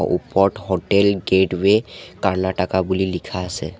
ওপৰত hotel gateway Karnataka বুলি লিখা আছে।